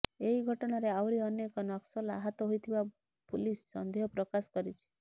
ଏହି ଘଟଣାରେ ଆହୁରି ଅନେକ ନକ୍ସଲ ଆହତ ହୋଇଥିବା ପୁଲିସ ସନ୍ଦେହ ପ୍ରକାଶ କରିଛି